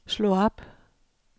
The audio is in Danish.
slå op